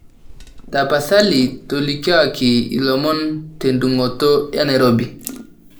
tapasali tolikioki ilomon te dung'oto enairobi